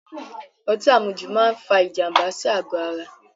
Ọtí àmujù máa fa ìjànbá sí àgò ara